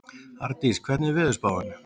Ardís, hvernig er veðurspáin?